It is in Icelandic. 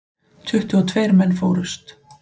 Tuttugu og tveir menn fórust.